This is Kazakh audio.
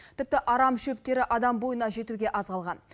тіпті арам шөптері адам бойына жетуге аз қалған